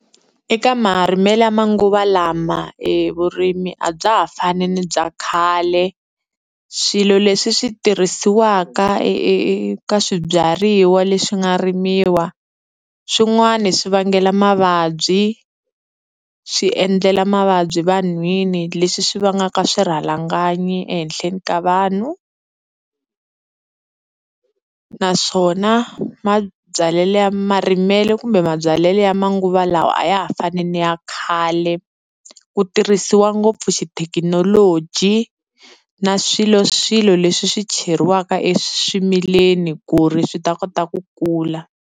Eka marimelo ya manguva lama e vurimi a bya ha fani ni bya khale. Swilo leswi swi tirhisiwaka eka swibyariwa leswi nga rimiwa swin'wani swi vangela mavabyi, swi endlela mavabyi vanhwini leswi swi vangaka swirhalanganyi ehenhleni ka vanhu. Naswona mabyalelo ya marimelo kumbe mabyalelo ya manguva lawa a ya ha fanele ni ya khale, ku tirhisiwa ngopfu xithekinoloji na swiloswilo leswi swi cheriwaka eswimileni ku ri swi ta kota ku kula.